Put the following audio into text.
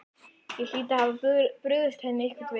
Ég hlyti að hafa brugðist henni einhvern veginn.